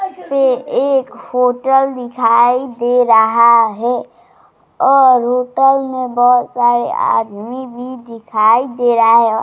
से एक होटल दिखाई दे रहा है और होटल मैं बहुत सारे आदमी भी दिखाई दे रहा है |